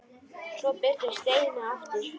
Svo birtist Steini aftur.